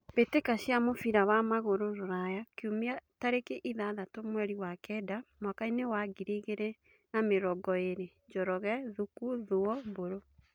Mbĩtĩka cia mũbira wa magũrũ Ruraya Kiumia tarĩki ithathatũ mweri wa kenda mwakainĩ wa ngiri igĩrĩ na mĩrongo ĩrĩ: Njoroge, Thuku, Thuo, Mburu.